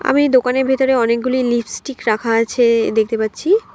আমি দোকানের ভেতরে অনেকগুলি লিপস্টিক রাখা আছে দেখতে পাচ্ছি।